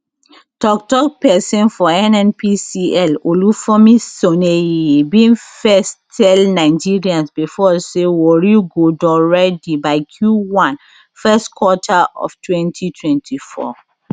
tok tok pesin for nnpcl olufemi soneye bin first tell nigerians before say warri go don ready by q1 first quarter of 2024